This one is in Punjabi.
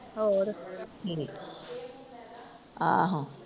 ਹੋਰ, ਠੀਕ। ਆਹੋ।